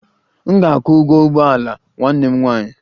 M ga-akwụ ụgwọ ụgbọ ala nwanne m nwanyị